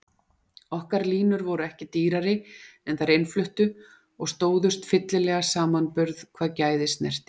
Okkar línur voru ekki dýrari en þær innfluttu og stóðust fyllilega samanburð hvað gæði snerti.